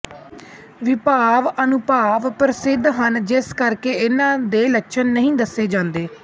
ਵਿਭਾਵ ਅਨੁਭਾਵ ਪ੍ਰਸਿੱਧ ਹਨ ਜਿਸ ਕਰਕੇ ਇਨ੍ਹਾਂ ਦੇ ਲੱਛਣ ਨਹੀਂ ਦੱਸੇ ਜਾਂਦੇ